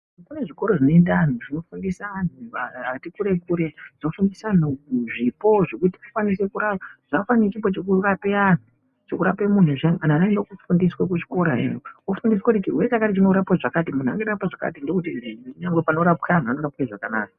Kune zvikoro zvinoinda antu, zvinofundisa antu atikure-kure. Zvinofundisa antu zvipo zvekuti akwanise kurapa. Zvakafanana nechipo chekurape antu, chekurape muntu zviyani anhu anoenda koofundiswa kuzvikorayo. Ofundiswa kuti chirwere ichi chinorapwa zvakati, muntu anorapwa zvakati ndookuti kunyange panorapwa anhu anorapwe zvakanaka.